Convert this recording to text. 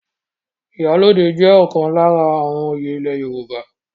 Ìyálóde jẹ́ ọ̀kan lára àwọn oyè ile Yorùbá.